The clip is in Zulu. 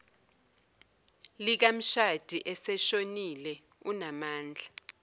likamshadi oseshonile unamandla